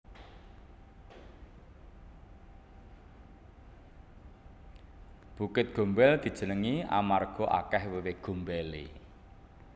Bukit Gombel dijenengi amarga akeh wewe gombele